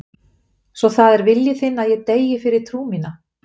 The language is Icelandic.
Svo það er vilji þinn að ég deyi fyrir trú mína.